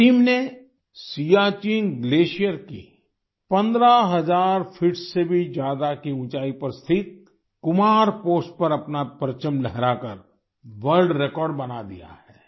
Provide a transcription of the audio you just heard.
इस टीम ने सियाचिन ग्लेशियर की 15 हज़ार फीट से भी ज्यादा की ऊंचाई पर स्थित कुमार पोस्ट पर अपना परचम लहराकर वर्ल्ड रेकॉर्ड बना दिया है